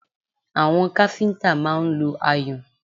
Àwọn káfíńtà máa ń lo ayùn